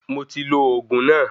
Mo ti lo oògùn náà